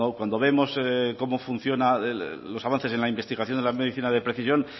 cuando vemos cómo funcionan los avances en la investigación de la medicina de precisión